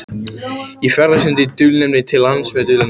Ég ferðast undir dulnefni til lands með dulnefni.